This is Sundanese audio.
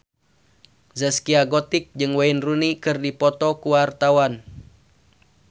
Zaskia Gotik jeung Wayne Rooney keur dipoto ku wartawan